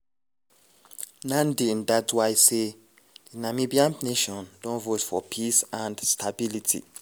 nandi ndaitwah say: "di namibian nation don vote for peace and stability."